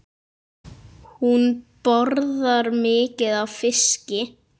Hún borðar mikið af fiski.